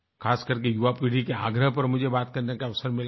खासकर के युवा पीढ़ी के आग्रह पर मुझे बातचीत करने का अवसर मिला है